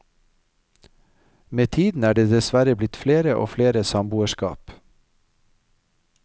Med tiden er det dessverre blitt flere og flere samboerskap.